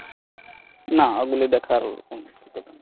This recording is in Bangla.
না ওগুলো দেখার ।